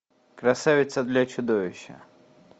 красавица для чудовища